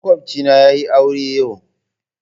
Makwabcina yayi aure yau.